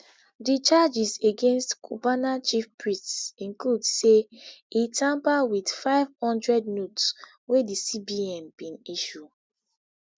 di charges against cubana chief priest include say e tamper wit nfive hundred notes wey di cbn bin issue